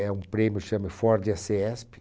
É um prêmio que se chama Ford e a cesp